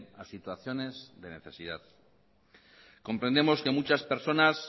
a situaciones de necesidad comprendemos que muchas personas